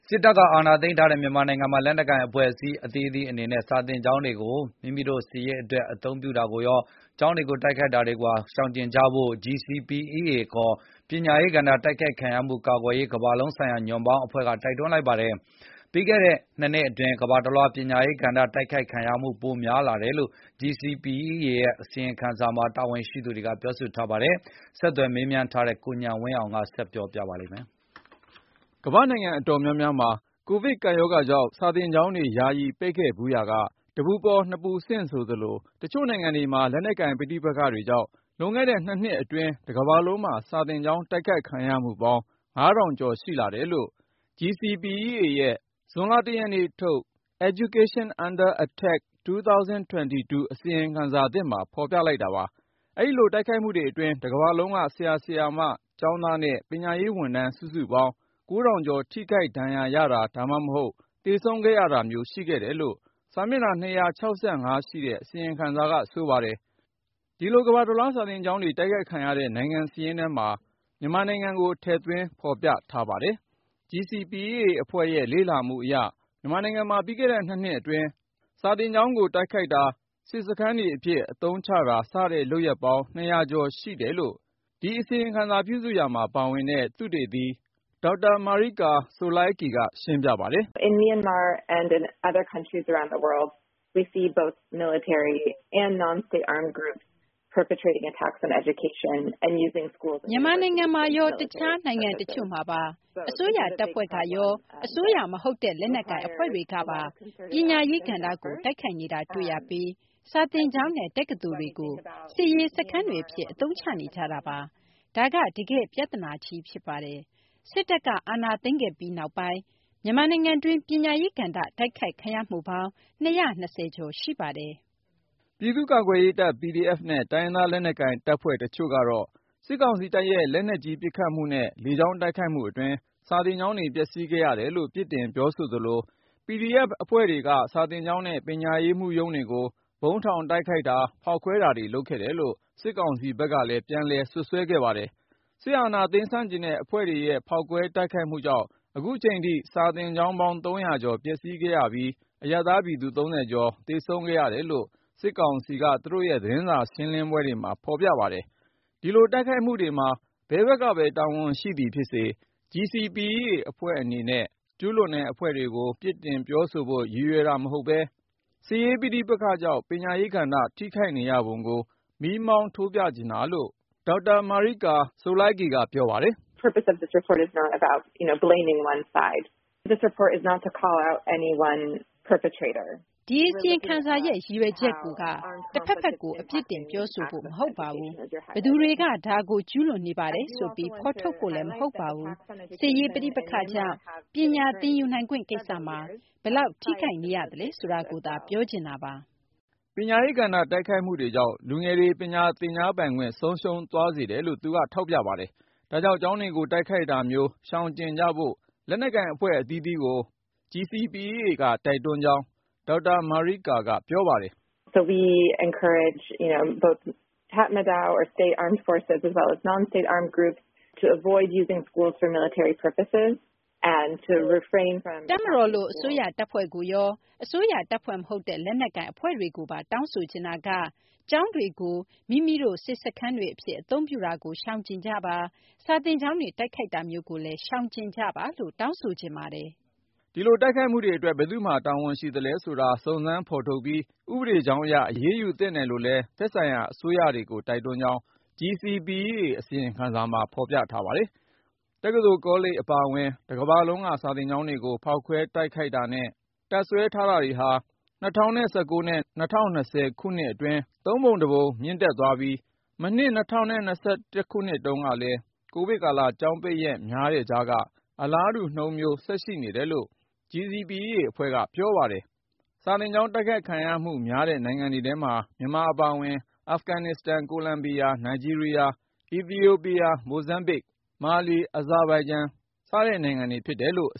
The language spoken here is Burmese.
စစ်တပ်က အာဏာသိမ်းထားတဲ့ မြန်မာနိုင်ငံမှာ လက်နက်ကိုင်အဖွဲ့အစည်း အသီးသီးအနေနဲ့ စာသင်ကျောင်းတွေကို မိမိတို့စစ်ရေးအတွက် အသုံးပြုတာကိုရော ၊ ကျောင်းတွေကို တိုက်ခိုက်နေတာ မျိုးကိုပါ ရှောင်ကြဉ်ကြဖို့ GCPEA ခေါ် ပညာရေးကဏ္ဍ တိုက်ခိုက်ခံရမှု-ကာကွယ်ရေး ကမ္ဘာလုံးဆိုင်ရာ ညွှန့်ပေါင်းအဖွဲ့က တိုက်တွန်းလိုက်ပါတယ်။ ပြီးခဲ့တဲ့(၂)နှစ်အတွင်း ကမ္ဘာတလွှား ပညာရေးကဏ္ဍ တိုက်ခိုက်ခံရမှု ပိုတိုးလာတယ်ဆိုတဲ့ GCPEA ရဲ့ အစီရင်ခံစာ ထွက်ပေါ်လာပြီးနောက် တာဝန်ရှိသူတွေက အခုလို ပြောဆိုလိုက်တာပါ။ ဆက်သွယ် မေးမြန်းထားတဲ့ ကိုဉာဏ်ဝင်းအောင်က တင်ပြထားပါတယ်။ ကမ္ဘာ့နိုင်ငံအတော်များများမှာ ကိုဗစ်ကပ်ရောဂါကြောင့် စာသင်ကျောင်းတွေ ယာယီ ပိတ်ခဲ့ဖူးရာက ၊ တပူပေါ်နှစ်ပူဆင့် ဆိုသလို တချို့နိုင်ငံတွေမှာ လက်နက်ကိုင် ပဋိပက္ခတွေကြောင့် လွန်ခဲ့တဲ့ ၂ နှစ်အတွင်း တကမ္ဘာလုံးမှာ စာသင်ကျောင်း တိုက်ခိုက်ခံရမှုပေါင်း (၅,၀၀၀)ကျော် ရှိလာတယ်လို့ (Global Coalition to Protect Education from Attack - GCPEA) ရဲ့ ဇွန်လ(၁)ရက်နေ့ထုတ် Education Under Attack 2022 အစီရင်ခံစာသစ်မှာ ဖေါ်ပြလိုက်တာပါ။ အဲဒီလို တိုက်ခိုက်မှုတွေအတွင်း တကမ္ဘာလုံးက ဆရာ/ဆရာမ ကျောင်းသားနဲ့ ပညာရေးဝန်ထမ်း စုစုပေါင်း(၉,၀၀၀)ကျော် ထိခိုက်ဒဏ်ရာရတာ ဒါမှမဟုတ် သေဆုံးခဲ့ရတာမျိုး ရှိခဲ့တယ်လို့လည်း စာမျက်နှာ(၂၆၅)ရှိတဲ့ အစီရင်ခံစာက ဆိုပါတယ်။ အဲဒီလို ကမ္ဘာတလွှား စာသင်ကျောင်းတွေ တိုက်ခိုက်ခံရတဲ့ နိုင်ငံစာရင်းထဲမှာ မြန်မာနိုင်ငံကိုလည်း ထည့်သွင်းဖေါ်ပြထားပါတယ်။ GCPEA အဖွဲ့ရဲ့ လေ့လာမှုအရ မြန်မာနိုင်ငံမှာ ပြီးခဲ့တဲ့ ၂ နှစ်အတွင်း အထူးသဖြင့် စစ်တပ် အာဏာသိမ်းပြီးနောက်ပိုင်း စာသင်ကျောင်းတွေကို တိုက်ခိုက်တာ၊ စစ်စခန်းတွေအဖြစ် အသုံးချတာ စတဲ့ လုပ်ရပ်ပေါင်း(၂၀၀)ကျော်ရှိတယ်လို့ ဒီအစီရင်ခံစာ ပြုစုရာမှာပါဝင်တဲ့ သုတေသီ Dr. Marika Tsolakis က ရှင်းပြပါတယ်။ " မြန်မာနိုင်ငံမှာရော အခြားနိုင်ငံတချို့မှာပါ အစိုးရတပ်ဖွဲ့ကရော အစိုးရမဟုတ်တဲ့ လက်နက်ကိုင်အဖွဲ့တွေကပါ ပညာရေးကဏ္ဍကို တိုက်ခိုက်နေတာ တွေ့ရပြီး၊ စာသင်းကျောင်းနဲ့ တက္ကသိုလ်တွေကို စစ်ရေးစခန်းတွေအဖြစ် အသုံးချနေ ကြတာပါ။ ဒါက တကယ့်ပြသနာကြီး ဖြစ်ပါတယ်။ စစ်တပ်က အာဏာသိမ်းခဲ့ပြီးနောက်ပိုင်း မြန်မာနိုင်ငံတွင်း ပညာရေးကဏ္ဍ တိုက်ခိုက်ခံရမှုပေါင်း (၂၂၀)ကျော်ရှိပါတယ်။ " ပြည်သူ့ကာကွယ်ရေးတပ် PDF နဲ့ တိုင်းရင်းသားလက်နက်ကိုင်တပ်ဖွဲ့ တချို့ကတော့ စစ်ကောင်စီတပ်ရဲ့ လက်နက်ကြီး ပစ်ခတ်မှုနဲ့ လေကြောင်းတိုက်ခိုက်မှုအတွင်း စာသင်ကျောင်းတွေ ပျက်စီးခဲ့ရတယ်လို့ ပြစ်တင် ပြောဆိုသလို၊ PDF အဖွဲ့တွေဟာ စာသင်ကျောင်းနဲ့ ပညာရေးမှူးရုံးတွေကို ဗုံးထောင်တိုက်ခိုက်တာ ဖေါက်ခွဲတာတွေ လုပ်ခဲ့တယ်လို့ စစ်ကောင်စီဘက်က ပြန်လည် စွပ်စွဲခဲ့ပါတယ်။ စစ်အာဏာသိမ်း ဆန့်ကျင်တဲ့အဖွဲ့တွေရဲ့ ဖေါက်ခွဲတိုက်ခိုက်မှုကြောင့် အခုချိန်ထိ စာသင်ကျောင်းပေါင်း (၃၀၀)ကျော်ပျက်စီးခဲ့ရပြီး ပညာရေးဝန်ထမ်း (၃၀)ကျော် သေဆုံးခဲ့ရတယ်လို့ စစ်ကောင်စီက သူတို့ရဲ့ သတင်းစာရှင်းလင်းပွဲတွေမှာ ဖေါ်ပြခဲ့ပါတယ်။ အဲဒီတိုက်ခိုက်မှုတွေမှာ ဘယ်ဖက်ကပဲ တာဝန်ရှိသည်ဖြစ်စေ GCPEA အဖွဲ့အနေနဲ့ ကျူးလွန်တဲ့ အဖွဲ့တွေကို ပြစ်တင်ပြောဆိုဖို့ ရည်ရွယ်တာ မဟုတ်ပဲ၊ စစ်ရေးပဋိပက္ခကြောင့် ပညာရေးကဏ္ဍ ထိခိုက်နေရပုံကို မီးမောင်းထိုးပြချင်တာလို့ GCPEA အဖွဲ့ သုတေသီ Dr. Marika Tsolakis က ပြောပါတယ်။ " ဒီ အစီရင်ခံစာရဲ့ ရည်ရွယ်ချက်ကိုက တဖက်ဖက်ကို အပြစ်တင် ပြောဆိုဖို့ မဟုတ်ပါဘူး။ ဘယ်သူတွေက ဒါကို ကျူးလွန်နေပါတယ်ဆိုပြီး ဖေါ်ထုတ်ဖို့လည်း မဟုတ်ပါဘူး။ စစ်ရေးပဋိပက္ခကြောင့် ပညာသင်ယူနိုင်ခွင့် ကိစ္စမှာ ဘယ်လောက် ထိခိုက်နေရသလဲ ဆိုတာကိုသာ ပြောချင်တာပါ။ " ပညာရေးကဏ္ဍ တိုက်ခိုက်မှုတွကြောင့် လူငယ်တွေ ပညာသင်ကြားပိုင်ခွင့် ဆုံးရှုံးသွားစေတယ်လို့ သူက ထောက်ပြပါတယ်။ ဒါကြောင့် ကျောင်းတွေကို တိုက်ခိုက်တာမျိုး ရှောင်ကြဉ်ကြဖို့ လက်နက်ကိုင်အဖွဲ့ အသီးသီးကို GCPEA က တိုက်တွန်းကြောင်း Dr. Marika Tsolakis က ပြောပါတယ်။ " တပ်မတော်လို အစိုးရ တပ်ဖွဲ့ကိုရော ၊ အစိုးရတပ်ဖွဲ့မဟုတ်တဲ့ လက်နက်ကိုင်အဖွဲ့တွေကိုပါ တောင်းဆိုချင်တာက ကျောင်းတွေကို မိမိတို့ စစ်စခန်းတွေအဖြစ် အသုံးပြုတာကို ရှောင်ကြဉ်ကြပါ ၊ စာသင်ကျောင်းတွေ တိုက်ခိုက်တာမျိုးကိုလည်း ရှောင်ကြဉ်ကြပါလို့ တောင်းဆိုချင်ပါတယ်။ " အဲဒီလို တိုက်ခိုက်မှုတွေအတွက် ဘယ်သူ့မှာ တာဝန်ရှိသလဲဆိုတာ စုံစမ်းဖေါ်ထုတ်ပြီး ဥပဒေကြောင်းအရ အရေးယူသင့်တယ်လို့လည်း သက်ဆိုင်ရာအစိုးရတွေကို တိုက်တွန်းကြောင်း GCPEA အစီရင်ခံစာမှာ ဖေါ်ပြထားပါတယ်။ တက္ကသိုလ်ကောလိပ်အပါအဝင် တကမ္ဘာလုံးက စာသင်ကျောင်းတွေကို ဖောက်ခွဲ တိုက်ခိုက်တာနဲ့ တပ်စွဲတာတွေဟာ ၂၀၁၉ နဲ့ ၂၀၂၀ ခုနှစ်အတွင်း သုံးပုံတစ်ပုံ မြင့်တက်သွားခဲ့ပြီး၊ မနှစ် ၂၀၂၁ တုန်းကလည်း ကိုဗစ်ကာလ ကျောင်းပိတ်ရက် များတဲ့ ကြားထဲက အလားတူနှုန်းမျိုး ဆက်ရှိနေတယ်လို့ GCPEA အဖွဲ့က ပြောပါတယ်။ စာသင်ကျောင်း တိုက်ခိုက်ခံရမှုများတဲ့ နိုင်ငံတွေထဲမှာ မြန်မာအပါအဝင် အာဖဂနစ္စတန်၊ ကိုလံဘီယာ၊ နိုင်ဂျီးရီးယား၊ အီသီယိုပီးယား၊ မိုဇမ်ဘစ်၊ ဘာကီနာ ဖာဆို၊ မာလီ၊ အဇာဘိုင်ဂျန်တို့ဖြစ်ကြတယ်လို့ အ